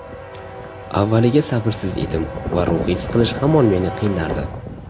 Avvaliga sabrsiz edim va ruhiy siqilish hamon meni qiynardi.